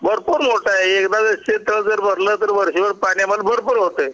भरपूर लोट आहे एकदा जर शेत तळ भरलं तर वर्षभर पाण्यामध्ये भरपूर होत